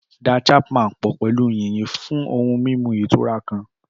Da Chapman pọ̀ pẹ̀lú yìnyín fún ohun mímu ìtura kan.